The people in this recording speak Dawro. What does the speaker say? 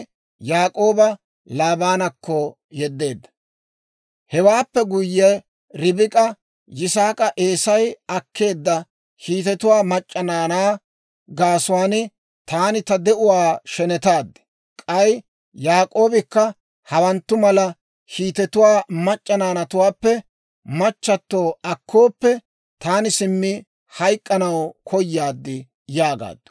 Hewaappe guyye Ribik'a Yisaak'a, «Eesay akkeedda Hiitetuwaa mac'c'a naanaa gaasuwaan taani ta de'uwaa shenetaad; k'ay Yaak'oobikka hawanttu mala Hiitetuwaa mac'c'a naanatuwaappe machchatto akkooppe, taani simmi hayk'k'anaw koyaad» yaagaaddu.